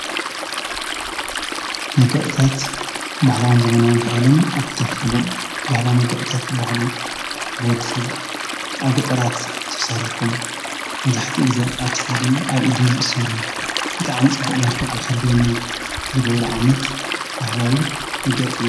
መገእታት ባሕላውን ዘመናዊ እንተውሎም ኣብ ክልትኽፈሉ ባህላ መገእታት ባሃሉ ብወድ ሰብ ኣብ ገጠራት ተሰሪሖም መዙሕቲ ጊዜ ኣግሳድን ኣብ ኢድን ዘሠሩ ብጥዓም ጽቡቕ መልከዕ ምኸልወና ዝጐብሪ ዓይነት ባህላዊ መግለፂ እዩ።